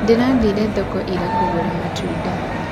Ndĩrathĩre thoko ira kũgũra matunda